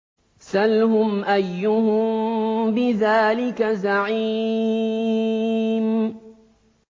سَلْهُمْ أَيُّهُم بِذَٰلِكَ زَعِيمٌ